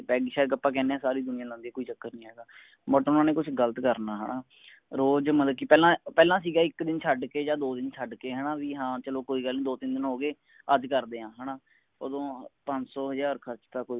peg ਸ਼ੈੱਗ ਆਪ ਕਿਹਨੇ ਆ ਪੂਰੀ ਦੁਨੀਆ ਲਾਂਦੀ ਹੈ ਕੋਈ ਚੱਕਰ ਨੀ ਹਗਾ but ਓਹਨਾ ਨੇ ਕੁਸ਼ ਗ਼ਲਤ ਕਰਨਾ ਹੈਨਾ ਰੋਜ ਮਤਲਬ ਕਿ ਪਹਿਲਾ ਪਹਿਲਾ ਸੀਗਾ ਇਕ ਦਿਨ ਛੱਡ ਕੇ ਯਾ ਦੋ ਦਿਨ ਛਡ ਕੇ ਹੈਨਾ ਵੀ ਹਾਂ ਚਲੋ ਕੋਈ ਗੱਲ ਨੀ ਦੋ ਤਿਨ ਦਿਨ ਹੋਗੇ ਅੱਜ ਕਰਦੇ ਆ ਓਦੋ ਪੰਜਸਓ ਹਜਾਰ ਖਰਚ ਤਾ ਕੋਈ